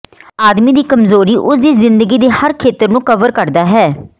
ਆਦਮੀ ਦੀ ਕਮਜ਼ੋਰੀ ਉਸ ਦੀ ਜ਼ਿੰਦਗੀ ਦੇ ਹਰ ਖੇਤਰ ਨੂੰ ਕਵਰ ਕਰਦਾ ਹੈ